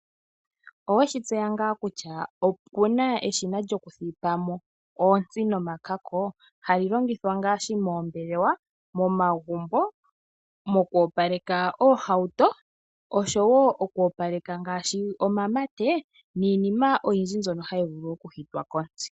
Owetseya ngaa kutya oku na eshina lyoku thipamo oontsi nomakako ? Hali longithwa ngaashi : moombelewa, momagumbo, moku opaleka oohawuto oshowo oku opaleka ngaashi omamate niinima oyindji mbyono ha yi vulu oku hitwa kontsi.